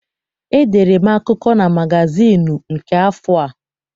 Edere m akụkọ na magazịịnụ nke afọ a.